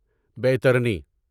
بیترنی